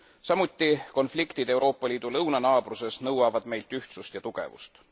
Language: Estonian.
Samuti konfliktid Euroopa Liidu lõunanaabruses nõuavad meilt ühtsust ja tugevust.